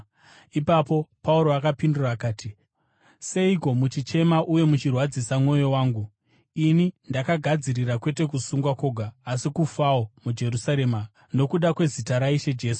Ipapo Pauro akapindura akati, “Seiko muchichema uye muchirwadzisa mwoyo wangu? Ini ndakagadzirira kwete kusungwa kwoga, asi kufawo muJerusarema nokuda kwezita raIshe Jesu.”